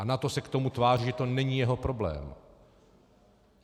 A NATO se k tomu tváří, že to není jeho problém.